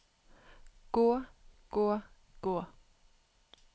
gå gå gå